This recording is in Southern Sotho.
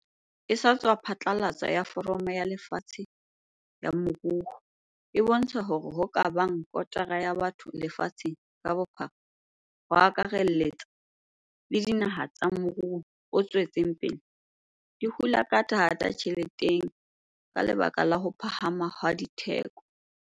e sa tswa phatlalatswa ya Foramo ya Lefatshe ya Moruo e bontsha hore hoo ka bang kotara ya batho lefatsheng ka bophara, ho akarelletsa le dinaha tsa morou o tswetseng pele, di hula ka thata ditjheleteng ka lebaka la ho phahama ha ditheko.